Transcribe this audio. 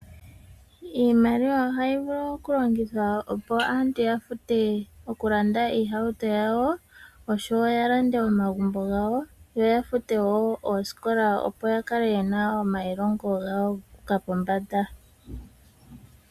Iimaliwa oha yi vulu oku longithwa opo aantu ya vule oku landa iihauto yawo, osho wo ya lande omagumbo gawo yo ya fute wo ooskola opo yakale yena omailongo guuka pombada.